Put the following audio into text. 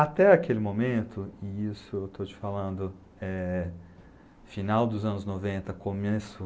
Até aquele momento, e isso eu estou te falando, eh, final dos anos noventa, começo